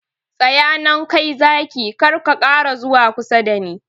Tsaya nan kai Zaki, kar ka ƙara zuwa kusa dani!